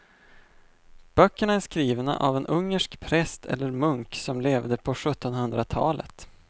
Böckerna är skrivna av en ungersk präst eller munk som levde på sjuttonhundratalet.